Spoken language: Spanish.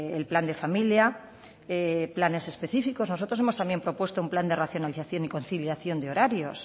el plan de familia planes específicos nosotros también hemos propuestos un plan de racionalización y conciliación de horarios